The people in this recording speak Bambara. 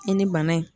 I ni bana in